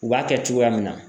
U b'a kɛ cogoya min na